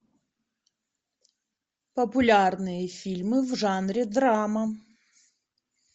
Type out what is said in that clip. популярные фильмы в жанре драма